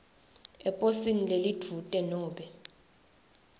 eposini lelidvute nobe